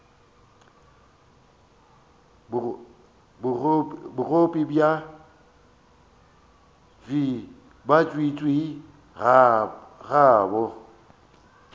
bogobe bja tswiitswii ga bo